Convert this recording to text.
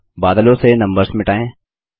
अगला बादलों से नम्बर्स मिटायें